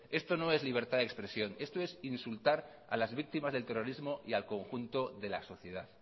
esto no es libertad de expresión esto es insultar a las víctimas del terrorismo y al conjunto de la sociedad